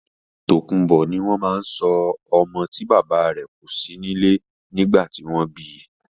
Tòkunbó ni orúkọ tí wọ́n ma ń sọ ọmọ tí bàbá rè kò sí nílé nìgbà tí wọ́n bi